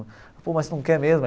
Pô, mas você não quer mesmo?